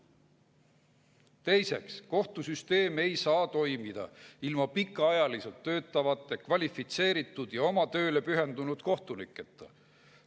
Teiseks: "Kohtusüsteem ei saa toimida ilma pikaajaliselt töötavate, kvalifitseeritud ja oma tööle pühendunud kohtuniketa.